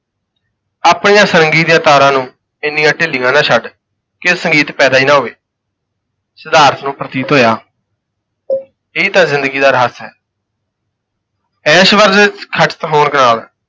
ਆਪਣੀਆਂ ਸਾਰੰਗੀ ਦੀਆਂ ਤਾਰਾਂ ਨੂੰ ਇੰਨੀਆਂ ਢਿੱਲੀਆਂ ਨਾ ਛੱਡ ਕੇ ਸੰਗੀਤ ਪੈਦਾ ਹੀ ਨਾ ਹੋਵੇ ਸਿਧਾਰਥ ਨੂੰ ਪ੍ਰਤੀਤ ਹੋਇਆ ਇਹ ਤਾਂ ਜ਼ਿੰਦਗੀ ਦਾ ਰਹੱਸ ਹੈ ਐਸ਼ਵਰਜ ਵਿੱਚ ਖਚਿਤ ਹੋਣ ਨਾਲ